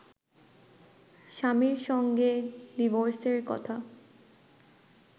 স্বামীর সঙ্গে ডিভোর্সের কথা